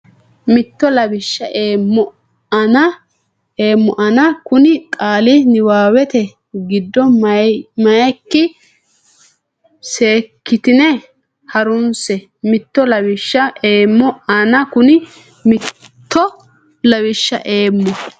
mitto lawishsha eemmo ana Kuni qaali niwaawete giddo meyikki seekkitine ha runse mitto lawishsha eemmo ana Kuni mitto lawishsha eemmo.